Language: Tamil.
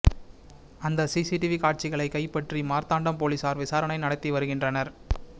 அந்த சிசிடிவி காட்சிகளை கைபற்றி மார்த்தாண்டம் போலீசார் விசாரணை நடத்தி வருகின்றனர்